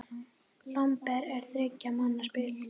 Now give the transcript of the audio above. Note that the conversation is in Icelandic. Lomber er þriggja manna spil.